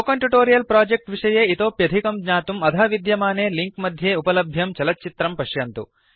spoken tutorial project विषये इतोप्यधिकं ज्ञातुम् अधः विद्यमाने लिंक मध्ये उपलभ्यं चलच्चित्रं पश्यन्तु